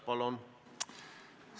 Palun!